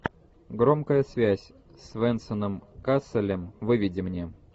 громкая связь с венсаном касселем выведи мне